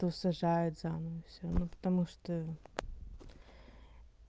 то сажают заново всё ну потому что